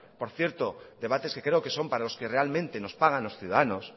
por cierto debates que creo que son para los que realmente nos pagan los ciudadanos